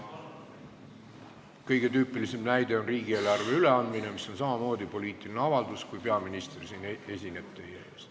Kõige tüüpilisem näide on riigieelarve üleandmine, mis on samamoodi poliitiline avaldus, kui peaminister siin teie ees esineb.